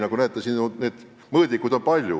Nagu slaidilt näete, mõõdikuid on palju.